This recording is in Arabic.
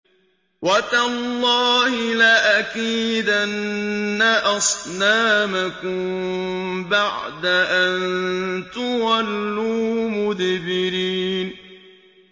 وَتَاللَّهِ لَأَكِيدَنَّ أَصْنَامَكُم بَعْدَ أَن تُوَلُّوا مُدْبِرِينَ